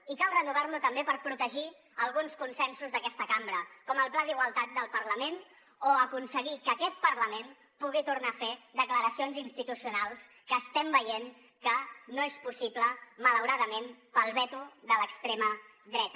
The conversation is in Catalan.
i cal renovar lo també per protegir alguns consensos d’aquesta cambra com el pla d’igualtat del parlament o aconseguir que aquest parlament pugui tornar a fer declaracions institucionals que estem veient que no és possible malauradament pel veto de l’extrema dreta